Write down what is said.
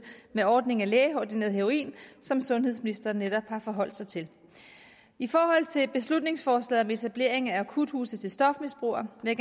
af ordningen med lægeordineret heroin som sundhedsministeren netop har forholdt sig til i forhold til beslutningsforslaget om etablering af akuthuse til stofmisbrugere vil